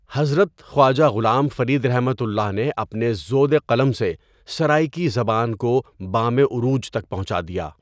حضرتخواجہ غلام فریدؒ نے اپنے زودِقلم سےسرائیکی زبان کو بامِ عروج تک پہنچا دیا.